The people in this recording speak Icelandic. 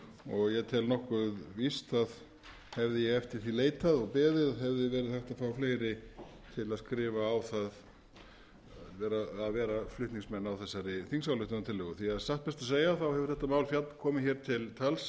og ég tel nokkuð víst að hefði ég eftir því leitað og beðið hefði verið hægt að fá fleiri til að vera flutningsmenn á þessari þingsályktunartillögu því að satt best að segja hefur þetta mál komið til tals